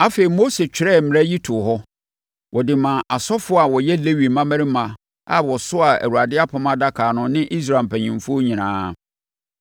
Afei, Mose twerɛɛ mmara yi too hɔ; ɔde maa asɔfoɔ a wɔyɛ Lewi mmammarima a wɔsoaa Awurade apam adaka no ne Israel mpanimfoɔ nyinaa.